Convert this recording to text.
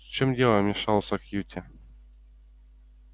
в чем дело вмешался кьюти